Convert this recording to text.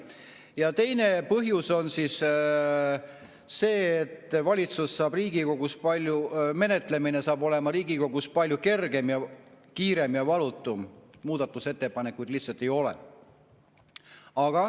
Ja teine põhjus on see, et menetlemine saab sel juhul olema Riigikogus palju kergem, kiirem ja valutum – muudatusettepanekuid lihtsalt ei ole.